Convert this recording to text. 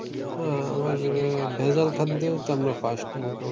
আহ আমরা ভেজাল খাদ্যেও তো আমরা first মোটামুটি।